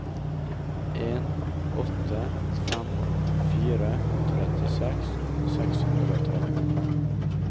en åtte fem fire trettiseks seks hundre og tretten